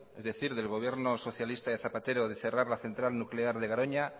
es decir del gobierno socialista de zapatero de cerrar la central nuclear de garoña